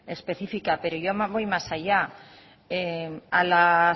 específica pero yo voy más allá a las